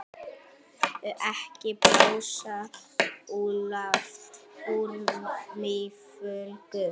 Ekki blása úlfalda úr mýflugu